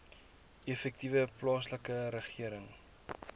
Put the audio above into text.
effektiewe plaaslike regering